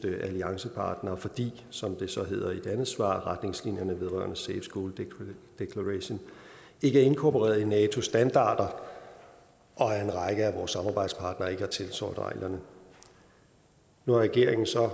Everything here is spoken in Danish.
alliancepartnere fordi som det så hedder i et andet svar retningslinjerne vedrørende safe schools declaration ikke er inkorporeret i natos standarder og at en række af vores samarbejdspartnere ikke har tiltrådt reglerne nu har regeringen så